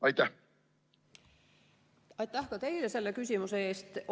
Aitäh ka teile küsimuse eest!